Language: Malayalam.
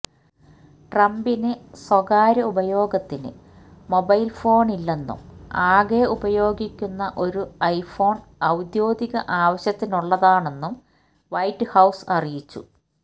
ട്രംപിന് സ്വകാര്യ ഉപയോഗത്തിന് മൊബൈല് ഫോണില്ലെന്നും ആകെ ഉപയോഗിക്കുന്ന ഒരു ഐഫോണ് ഔദ്യോഗിക ആവശ്യത്തിനുള്ളതാണെന്നും വൈറ്റ് ഹൌസ് അറിയിച്ചു